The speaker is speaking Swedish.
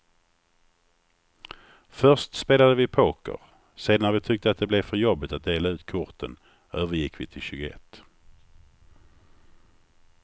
Först spelade vi poker, sedan när vi tyckte att det blev för jobbigt att dela ut korten övergick vi till tjugoett.